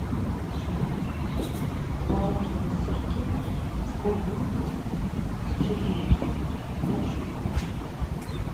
творожные сырки с клубникой с черникой пять штук